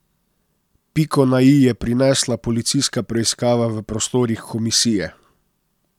Piko na i je prinesla policijska preiskava v prostorih komisije.